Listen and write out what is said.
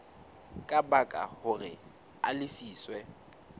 ka baka hore a lefiswe